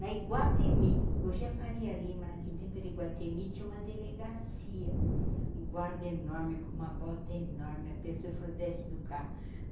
Na Iguatemi, hoje é Faria Lima, naquele tempo era Iguatemi, tinha uma delegacia, guarda enorme, com uma bota enorme, aperto e frodesse do carro.